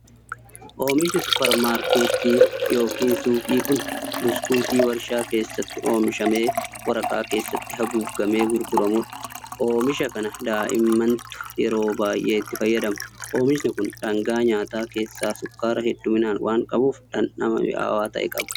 Oomishni supparmaarkettii yookin suuqii kun, buskutii warshaa keessatti oomishamee waraqaa keessatti haguugamee gurguramuu dha. Oomisha kana daa'immantu yeroo baay'ee itti fayyadama. Oomishni kun dhangaa nyaataa keessaa sukkaara hedduumminaan waan qabuuf dhandhama mi'aawaa ta'e qaba.